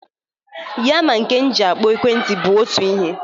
Ya na nke m ji akpọ ekwentị bụ otu ihe.